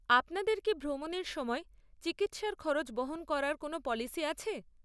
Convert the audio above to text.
আপনাদের কি ভ্রমণের সময় চিকিৎসার খরচ বহন করার জন্য কোনও পলিসি আছে?